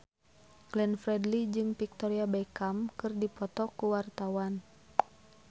Glenn Fredly jeung Victoria Beckham keur dipoto ku wartawan